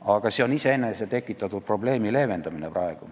Aga see on iseenese tekitatud probleemi leevendamine.